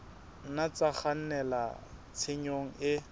nna tsa kgannela tshenyong e